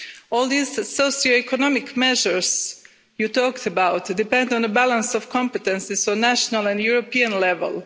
All these socio-economic measures you talked about depend on a balance of competences at national and European level.